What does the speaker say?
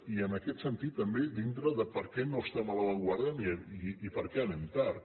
i en aquest sentit també dintre de per què no estem a l’avantguarda i per què anem tard